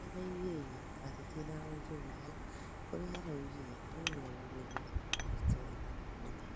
nĩaraĩgĩrĩire atetĩ na onjorĩthĩa kũrĩa araũgaga no mĩarĩo mĩtherĩ ĩtarĩ na mũthĩa